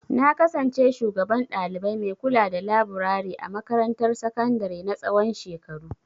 Na kasance shugaban ɗalibai mai kulada laburare a makarantar sakandare na tsawon shekaru.